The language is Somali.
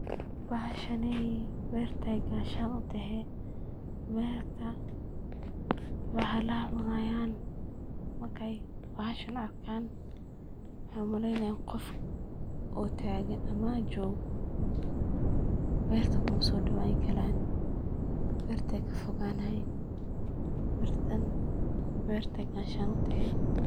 Bahashaney beerta ay gashaan u tahee ,beerta bahallaha cunayaan markey bahashan arkaan waxey u maleynayaan qof oo taagan ama joogo ,beerta kuma soo dhawaan karaan beerta ay ka foganayiin. Birtan beerta ay gashaan u tahee.